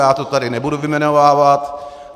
Já to tady nebudu vyjmenovávat.